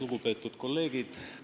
Lugupeetud kolleegid!